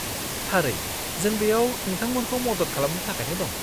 थारै! जों बेयाव नोंथांमोनखौ मदद खालामनो थाखायनो दं।